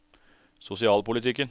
sosialpolitikken